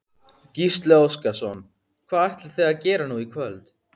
Gísli Óskarsson: Hvað ætlið þið að gera nú í kvöld?